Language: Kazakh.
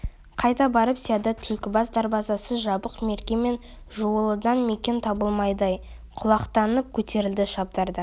қайда барып сияды түлкібас дарбазасы жабық мерке мен жуалыдан мекен табылмады ай құлақтанып көтерілді шабдар да